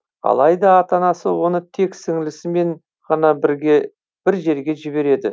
алайда ата анасы оны тек сіңілісімен ғана бірге бір жерге жібереді